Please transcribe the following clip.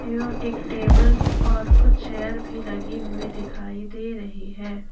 एवं एक टेबल और कुछ चेयर भी लगी हुई दिखाई दे रही है।